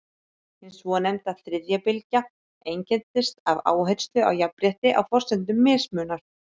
hin svonefnda „þriðja bylgja“ einkennist af áherslu á jafnrétti á forsendum mismunar